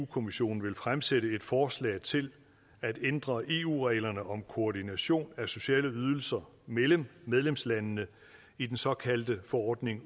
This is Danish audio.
kommissionen vil fremsætte et forslag til at ændre eu reglerne om koordination af sociale ydelser mellem medlemslandene i den såkaldte forordning